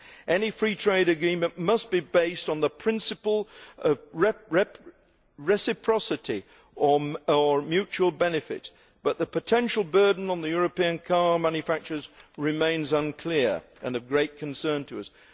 Any free trade agreement must be based on the principle of reciprocity or mutual benefit, but the potential burden on European car manufacturers remains unclear and of great concern to us.